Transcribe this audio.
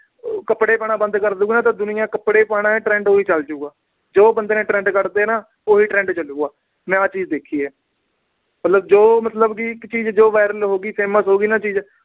ਕੱਪੜੇ ਪਾਉਣਾ ਬੰਦ ਕਰਦੂ, ਤਾਂ ਦੁਨੀਆ ਕੱਪੜੇ ਨਾ ਪਾਉਣਾ, trend ਉਦਾਂ ਦਾ ਹੀ ਚਲ ਪਊਗਾ। ਜੋ ਬੰਦੇ ਨੇ trend ਕੱਢਤੇ ਨਾ, ਉਹੀ trend ਚਲੂਗਾ, ਮੈਂ ਆਹ ਚੀਜ ਦੇਖੀ ਆ। ਮਤਲਬ ਜੋ ਇੱਕ ਚੀਜ viral ਹੋ ਗਈ, famous ਹੋ ਗਈ ਜੋ ਚੀਜ